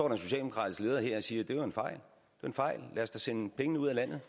en socialdemokratisk leder her og siger det var en fejl fejl lad os da sende pengene ud af landet